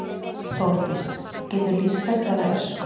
Þórdís: Geturðu lýst þessari ösku?